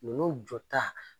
Ninnu jɔta